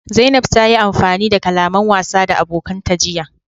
Zanaib ta yi amfani da kalaman wasa da abokanta jiya.